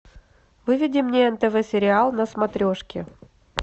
выведи мне нтв сериал на смотрешке